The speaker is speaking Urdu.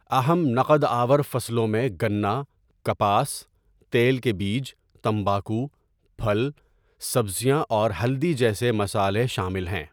اہم نقد آور فصلوں میں گنا، کپاس، تیل کے بیج، تمباکو، پھل، سبزیاں اور ہلدی جیسے مصالحے شامل ہیں۔